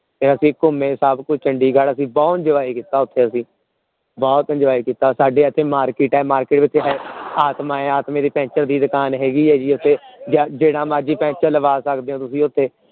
ਫੇਰ ਅਸੀਂ ਘੁੰਮੇ ਸਭ ਕੁਛ ਚੰਡੀਗੜ੍ਹ ਓਥੇ ਬਹੁਤ enjoy ਕੀਤਾ ਅਸੀਂ ਬਹੁਤ enjoy ਕੀਤਾ ਸਾਡੇ ਇਥੇ market ਹੈ market ਸਾਡੇ ਇਥੇ ਆਤਮਾ ਹੈ ਆਤਮੇ, ਦੀ ਪੈਂਚਰ ਦੀ ਦੁਕਾਨ ਹੈਗੀ ਇਥੇ ਜਿਹੜਾ ਮਰਜੀ ਪੈਂਚਰ ਲਵਾ ਸਕਦੇ ਹੋ ਤੁਸੀਂ ਓਥੇ